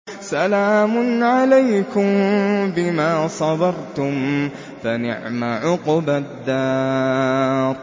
سَلَامٌ عَلَيْكُم بِمَا صَبَرْتُمْ ۚ فَنِعْمَ عُقْبَى الدَّارِ